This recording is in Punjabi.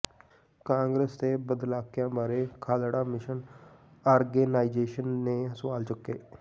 ਕਾਂਗਰਸ ਤੇ ਬਾਦਲਕਿਆਂ ਬਾਰੇ ਖਾਲੜਾ ਮਿਸ਼ਨ ਆਰਗੇਨਾਈਜ਼ੇਸ਼ਨ ਨੇ ਸਵਾਲ ਚੁੱਕੇ